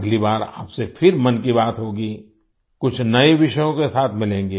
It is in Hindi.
अगली बार आपसे फिर मन की बात होगी कुछ नए विषयों के साथ मिलेंगें